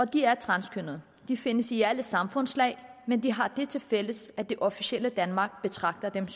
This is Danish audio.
de er transkønnede de findes i alle samfundslag men de har det tilfælles at det officielle danmark betragter dem